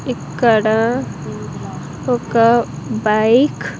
ఇక్కడ ఒక బైక్ .